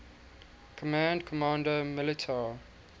command comando militar